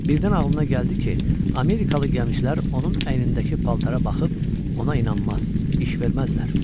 Birdən ağlına gəldi ki, Amerikalı gəmişlər onun əynindəki paltara baxıb ona inanmaz, iş verməzdilər.